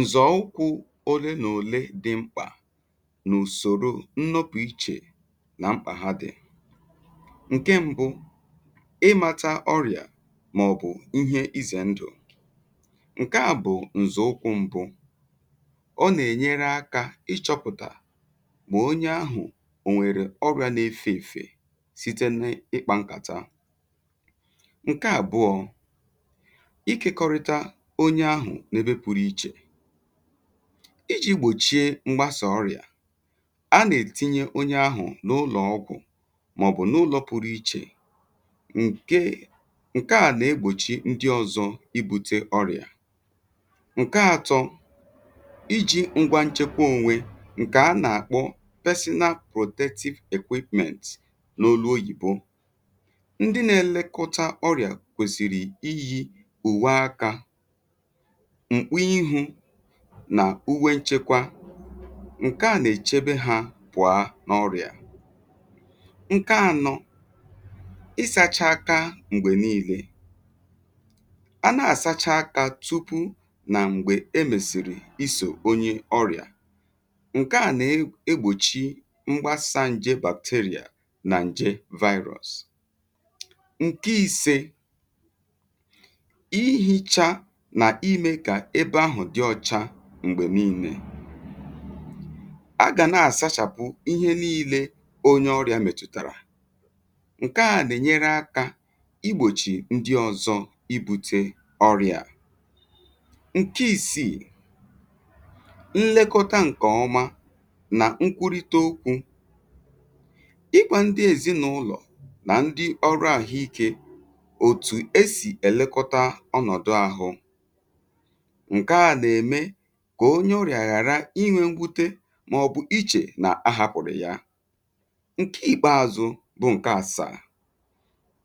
Nzọ̀ ụkwụ̇ ole n’ole dị̇ mkpà n’ùsòrò nnọpụ̇ ichè nà mkpà ha dị̀. Nke mbụ, ịmȧtȧ ọrị̀à màọ̀bụ̀ ihe izè ndụ̀, ǹke à bụ̀ ǹzọ̀ ụkwụ̇ mbụ. Ọ nà-ènyere akȧ ịchọ̇pụ̀tà bụ̀ onye ahụ̀ ò nwèrè ọrị̀à na-efè èfè site n’ịkpȧ nkàta. Nkè àbụọ̇, ịkekọrịta onye ahụ̀ n’ebe pụrụ ichè. Iji gbòchie m̀gbasà ọrịà, a nà-ètinye onye ahụ̀ n’ụlọ̀ ọgwụ̀ màọ̀bụ̀ n’ụlọ̇ pụrụ ichè nkè ǹke à nà-egbòchi ndị ọ̇zọ̇ ibu̇tė ọrịà. Nke ȧtọ̇, iji̇ ngwa nchekwa ònwe ǹkè a nà-àkpọ n’olu oyìbo. Ndị na-èlekọta ọrịà kwèsìrì iyi ùwe akà, mkpu ihú nà uwe nchekwa, ǹke à nà-èchebe hȧ bụ̀a n’ọrịà. Nkè ànọ, isacha aka m̀gbè niilė. A nà-àsacha aka tupu nà m̀gbè e mèsìrì isò onye ọrịà, ǹke à nà-egbòchi mgbasà ǹje nà ǹje vaịrụs. Nke ìse, ịyichà nà ịmé kà ébé áhụ̀ dị ọchá m̀gbè niilė. A gà na-àsachàpụ ihe niilė onye ọrịà m̀ètùtàrà, ǹke à nà-ènyere akȧ igbòchì ndị ọ̇zọ̇ ibu̇tė ọrịà a. Nke ìsìì, nlekọta ǹkè ọma nà nkwurịta okwu̇, ịgwá ndị èzinàụlọ̀ nà ndị ọrụàhụ ikė òtù esì èlekọta ọnọ̀dụ ȧhụ̇, nke à nà-émé kà onye ọrịà ghàra ịnwe nwuté màọ̀bụ̀ ichè nà ahapụrụ ya. Nkè ịkpeazụ bụ ǹkẹ àsà,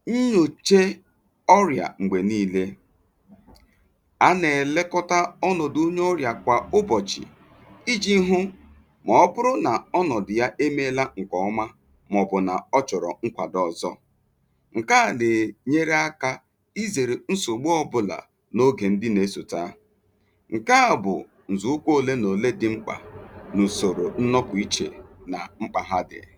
nyòche ọrịà m̀gbè nii̇lė. A nà-èlekọta ọnọ̀dụ̀ onye ọrịà kwà ụbọ̀chị̀, iji̇ hụ màọ̀bụ̀rụ nà ọnọ̀dụ̀ ya emėla ǹkẹ̀ọma màọ̀bụ̀ nà ọ chọ̀rọ̀ nkwàdo ọ̀zọ. Nkè à nà-enyere akȧ izèrè nsògbu ọbụlà nà oge ndị na esotà. Nkè à bụ̀ ǹzụ̀ukwu òle nà òle dị̇ mkpà n’ùsòrò nnọpụ ichè nà mkpà ha dị̀rị.